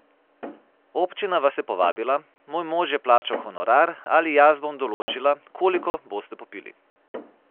Občina vas je povabila, moj mož je plačal honorar ali jaz bom določila, koliko boste popili.